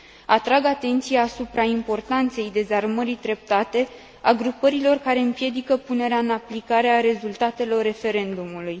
Atrag atenția supra importanței dezarmării treptate a grupărilor care împiedică punerea în aplicare a rezultatelor referendumului.